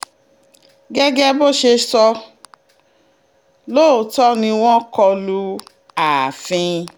gẹ́gẹ́ bó ṣe sọ lóòótọ́ ni wọn kọ lu ààfin